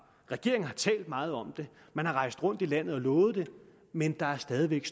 regeringen har talt meget om det man har rejst rundt i landet og lovet det men der er stadig væk